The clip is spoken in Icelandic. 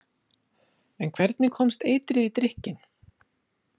En hvernig komst eitrið í drykkinn?